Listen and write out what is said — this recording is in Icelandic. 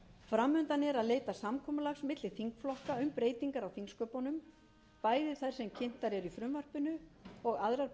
fram undan er að leita samkomulags milli þingflokka um breytingar á þingsköpunum bæði þær sem kynntar eru í frumvarpinu og aðrar